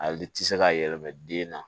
A liti se ka yɛlɛma den na